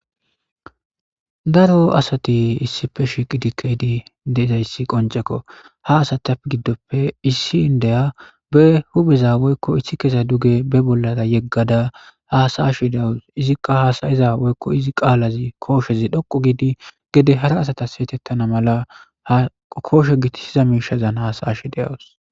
daro asati issife shiqidikkeydi deizayssi qoncekko ha asatiappe giddoppe issi indeya be hubeza woykko ishi kesa duge be bollara yeggada haasayshi deawus izikka haasayiza woykko izi qaalazi kooshezi dhoqu giidi gede hara asatas seetettana mala hakooshe giti siza miishazan haasaysh deawus